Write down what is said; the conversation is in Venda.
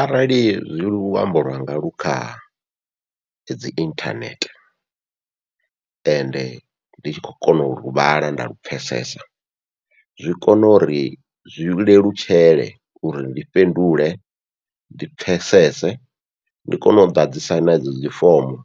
Arali zwi luambo lwanga lu kha dzi inthanethe, ende ndi tshi khou kona ulu vhala nda lu pfhesesa zwi kone uri zwi lelutshele uri ndi fhindule ndi pfhesese ndi kone u ḓadzisa nadzo dzifomo